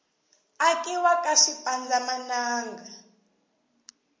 akiwa ka swipanza mananga